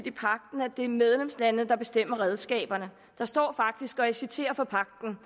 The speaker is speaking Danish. i pagten at det er medlemslandene der bestemmer redskaberne der står faktisk og jeg citerer fra pagten